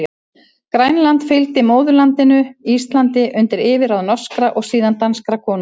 Grænland fylgdi móðurlandinu Íslandi undir yfirráð norskra, og síðan danskra konunga.